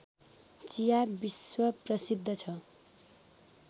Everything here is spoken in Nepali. चिया विश्वप्रसिद्ध छ